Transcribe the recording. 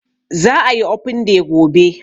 Za a yi open day gobe